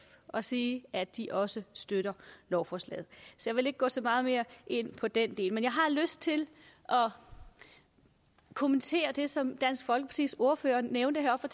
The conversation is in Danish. og sige at de også støtter lovforslaget jeg vil ikke gå så meget mere ind på den del men jeg har lyst til at kommentere det som dansk folkepartis ordfører nævnte heroppe